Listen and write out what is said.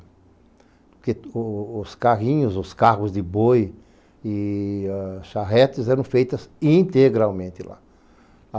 Porque o os carrinhos, os carros de boi e ãh charretes eram feitas integralmente lá.